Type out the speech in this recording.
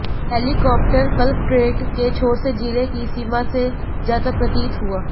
helicopter collectorate के छोर से जिले की सीमा से जाता प्रतीत हुआ